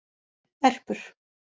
Erpur